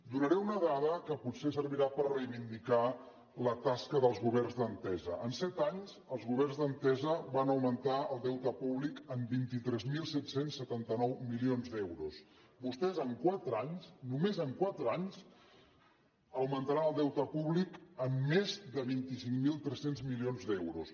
donaré una dada que potser servirà per reivindicar la tasca dels governs d’entesa en set anys els governs d’entesa van augmentar el deute públic en vint tres mil set cents i setanta nou milions d’euros vostès en quatre anys només en quatre anys augmentaran el deute públic en més de vint cinc mil tres cents milions d’euros